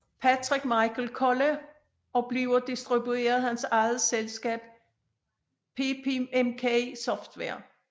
Patrick Michael Kolla og bliver distribueret af hans eget selskab PepiMK Software